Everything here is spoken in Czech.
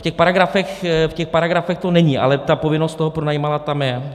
V těch paragrafech to není, ale ta povinnost toho pronajímatele tam je.